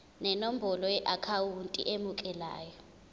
nenombolo yeakhawunti emukelayo